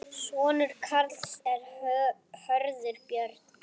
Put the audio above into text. Sonur Karls er Hörður Björn.